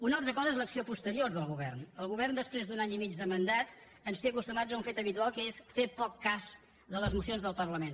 una altra cosa és l’acció posterior del govern el govern després d’un any i mig de mandat ens té acostumats a un fet habitual que és fer poc cas de les mocions del parlament